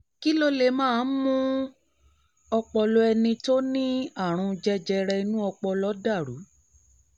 kí ló máa ń mú kí ọpọlọ ẹni tó ní àrùn jẹjẹrẹ inú ọpọlọ dà rú?